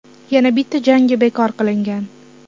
Yana bitta jangi bekor qilingan.